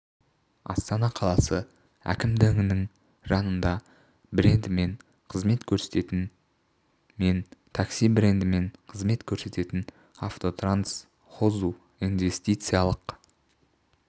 астана қаласы әкімдігінің жанында брендімен қызмет көрсететін мен такси брендімен қызмет көрсететін автотранс хозу инвестициялық